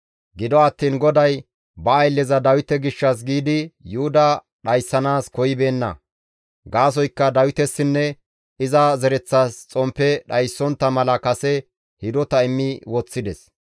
Gido attiin GODAY ba aylleza Dawite gishshas giidi Yuhuda dhayssanaas koyibeenna. Gaasoykka Dawitesinne iza zereththas xomppe dhayssontta mala kase hidota immi woththides.